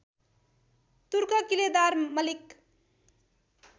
तुर्क किलेदार मलिक